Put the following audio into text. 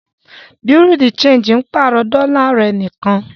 Bùréáù de ṣéńjì pàrọ̀ dọ́là rẹ̀ nìkan.